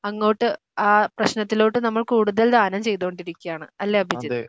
അങ്ങോട്ട് ആ പ്രശ്നത്തിലോട്ട് നമ്മൾ കൂടുതൽ ദാനം ചെയ്‌തോണ്ടിരിക്കുകയാണ് അല്ലേ അഭിജിത്ത്?